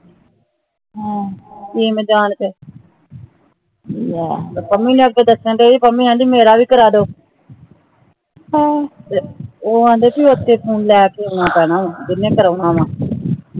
ਹਾਂ ਕੀ ਮਜਾਲ ਫ਼ੇਰ ਪੰਮੀ ਦੇ ਅੱਗੇ ਦਸਣ ਦੀਏ ਪੰਮੀ ਕਹਿੰਦੀ ਮੇਰਾ ਭੀ ਕਰਾਦੋ ਹਾਂ ਉਹ ਆਉਂਦੇ ਭੀ ਉਥੇ ਹੁਣ ਲੈ ਕੇ ਆਣਾ ਪੈਣਾ ਉਹ ਜਿੰਨੇ ਕਰਾਉਣਾ ਹਾ